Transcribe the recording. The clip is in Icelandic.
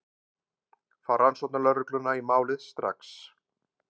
Fá rannsóknarlögregluna í málið strax.